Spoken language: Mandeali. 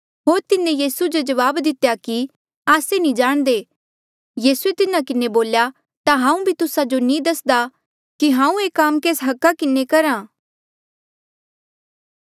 होर तिन्हें यीसू जो जवाब दितेया कि आस्से नी जाणदे यीसूए तिन्हा किन्हें बोल्या ता हांऊँ भी तुस्सा जो नी दस्दा कि हांऊँ ये काम केस हका किन्हें करहा